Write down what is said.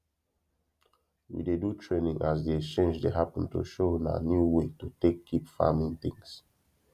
we dey do training as de exchange dey happen to show una new way to take keep farming things